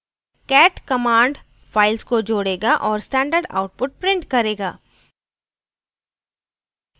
cat command files को जोडेगा औऱ standard output print करेगा